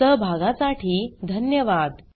सहभागासाठी धन्यवाद